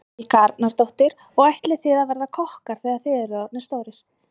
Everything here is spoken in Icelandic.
Helga Arnardóttir: Og ætlið þið að verða kokkar þegar þið eruð orðnir stórir?